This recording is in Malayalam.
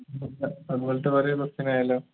അതുപോലത്തെ വേറെ question ആയാലോ